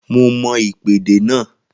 Mo mọm ìpèdè náà